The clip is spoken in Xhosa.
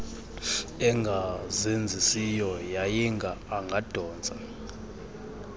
engazenzisiyo yayinga angadontsa